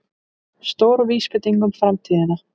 Stór vísbending um framtíðina